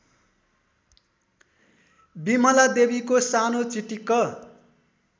बिमलादेवीको सानो चिटिक्क